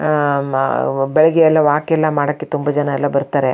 ಆಹ್ಹ್ ಬೆಳಿಗ್ಗೆ ಎಲ್ಲ ವಾಕ್ ಎಲ್ಲ ಮಾಡೋಕೆ ತುಂಬಾ ಜನ ಎಲ್ಲ ಬರ್ತಾರೆ.